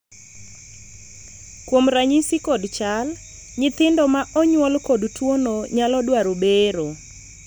kuom ranyisi kod chal, nyithindo ma onyuol kod tuono nyalo dwaro bero